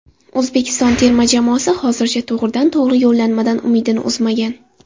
O‘zbekiston terma jamoasi hozircha to‘g‘ridan-to‘g‘ri yo‘llanmadan umidini uzmagan.